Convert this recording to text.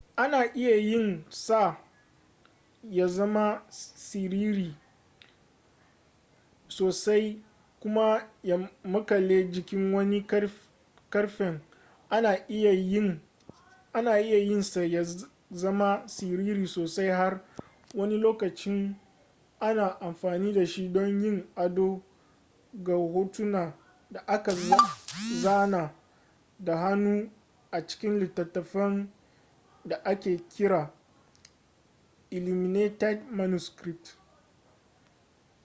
ana iya yin sa ya zama siriri sosai kuma ya makale jikin wani ƙarfen ana iya yin sa ya zama siriri sosai har wani lokacin ana amfani dashi don yin ado ga hotuna da aka zana da hannu a cikin littattafan da ake kira illuminated manuscripts